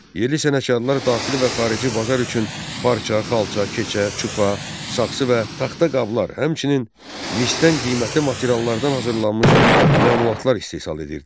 Yerli sənətkarlar daxili və xarici bazar üçün parça, xalça, keçə, çuxa, saxsı və taxta qablar, həmçinin misdən qiymətli materiallardan hazırlanmış məmulatlar istehsal edirdilər.